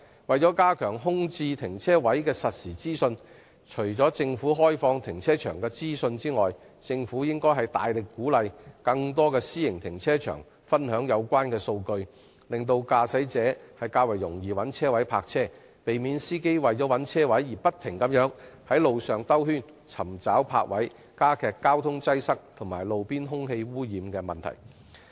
為了加強空置停車位的實時資訊，政府除了開放停車場的資訊外，更應大力鼓勵更多私營停車場分享有關數據，讓駕駛者更易找到泊車位，避免司機為了尋覓車位而不斷在馬路上"兜圈"，加劇交通擠塞及路邊空氣污染的問題。